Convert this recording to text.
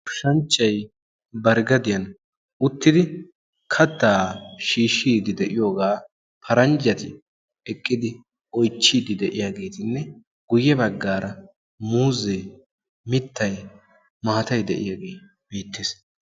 goshanchchay bar ggadiyan ottidi kattaa shiishshiidi de'iyoogaa paranjjati eqqidi oychchiiddi de'iyaageetinne guyye baggaara muuzee mittay maatay de'iyaagee beettees